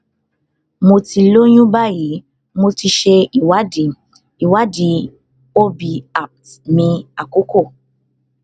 mo ti lóyún báyìí mo ti ṣe ìwádìí ìwádìí ob appt mi àkọkọ